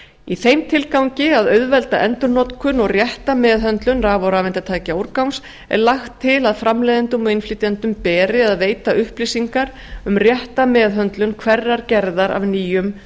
í þeim tilgangi að auðvelda endurnotkun og rétta meðhöndlun raf og rafeindatækjaúrgangs er lagt til að framleiðendum og innflytjendum beri að veita upplýsingar um rétta meðhöndlun hverrar gerðar af nýjum